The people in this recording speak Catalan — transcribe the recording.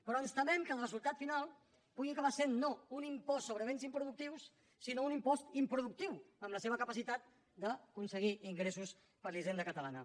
però ens temem que el resultat final pugui acabar sent no un impost sobre béns improductius sinó un impost improductiu en la seva capacitat d’aconseguir ingressos per a la hisenda catalana